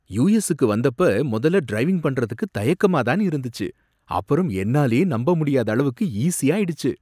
US க்கு வந்தப்ப முதல்ல டிரைவிங் பண்றதுக்கு தயக்கமா தான் இருந்துச்சு, அப்புறம் என்னாலயே நம்ப முடியாத அளவுக்கு ஈசியாயிடுச்சு.